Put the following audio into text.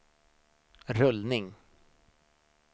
rullning